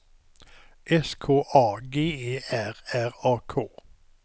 S K A G E R R A K